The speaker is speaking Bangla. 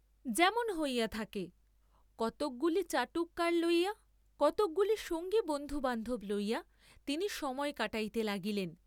যেমন হইয়া থাকে, কতকগুলি চাটুকার লইয়া, কতকগুলি সঙ্গী বন্ধুবান্ধব লইয়া তিনি সময় কাটাইতে লাগিলেন।